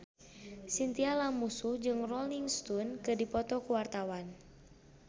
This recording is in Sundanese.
Chintya Lamusu jeung Rolling Stone keur dipoto ku wartawan